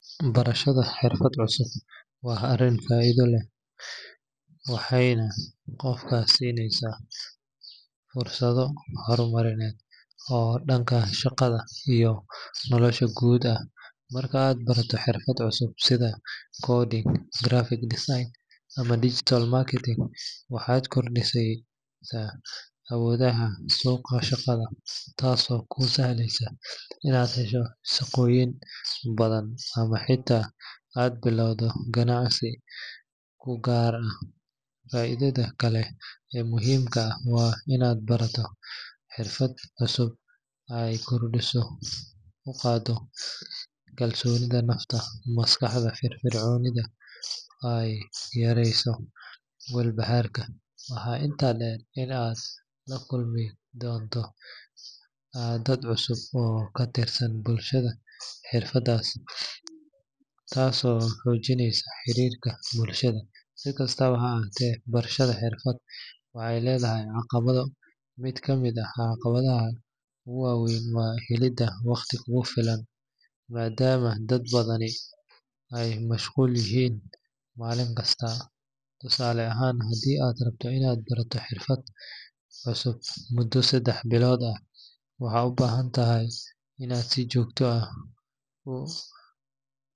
Barashada xirfad cusub waa arrin faa’iido badan leh, waxayna qofka siinaysaa fursado horumarineed oo dhanka shaqada iyo nolosha guud ah. Marka aad barato xirfad cusub sida coding, graphic design ama digital marketing, waxaad kordhinaysaa awoodahaaga suuqa shaqada, taasoo kuu sahleysa inaad hesho shaqooyin badan ama xitaa aad bilowdo ganacsi kuu gaar ah. Faa’iidada kale ee muhiimka ah waa in barashada xirfad cusub ay kor u qaaddo kalsoonida nafta, maskaxda firfircoonaysana ay yareyso walbahaarka. Waxaa intaas dheer in aad la kulmi doonto dad cusub oo ka tirsan bulshada xirfaddaas, taasoo xoojinaysa xiriirka bulshada. Si kastaba ha ahaatee, barashada xirfad cusub waxay leedahay caqabado. Mid ka mid ah caqabadaha ugu weyn waa helidda waqti kugu filan, maadaama dad badani ay mashquul yihiin maalinkasta. Tusaale ahaan, haddii aad rabto inaad barato xirfad cusub muddo saddex bilood ah, waxaad u baahan tahay inaad si joogto ah u.